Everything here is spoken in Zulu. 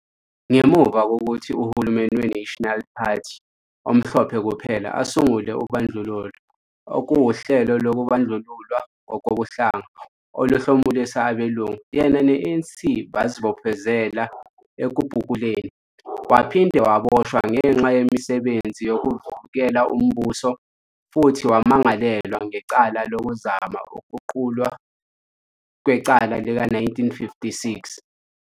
Ngemuva kokuthi uhulumeni we- National Party omhlophe kuphela asungule ubandlululo, okuwuhlelo lokubandlululwa ngokobuhlanga oluhlomulisa abelungu, yena ne-ANC bazibophezela ekubhukuleni. Waphinde waboshwa ngenxa yemisebenzi yokuvukela umbuso futhi wamangalelwa ngecala lokuzama ukuqulwa kwecala lika- 1956.